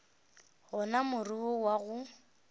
gona more wo wa go